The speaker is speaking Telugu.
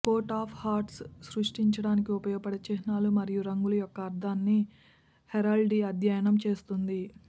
కోట్ ఆఫ్ హర్ట్స్ సృష్టించడానికి ఉపయోగించే చిహ్నాలు మరియు రంగులు యొక్క అర్థాన్ని హెరాల్డ్రీ అధ్యయనం చేస్తుంది